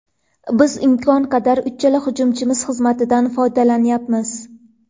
Biz imkon qadar uchala hujumchimiz xizmatidan foydalanyapmiz.